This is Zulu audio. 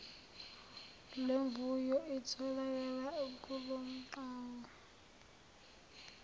lemvuyo itholakala kulomgwaqo